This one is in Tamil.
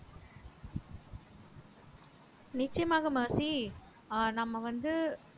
நிச்சயமாக மெர்சி ஆஹ் நம்ம வந்து